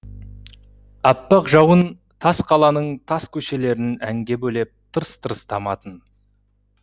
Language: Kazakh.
аппақ жауын тас қаланың тас көшелерін әнге бөлеп тырс тырс таматын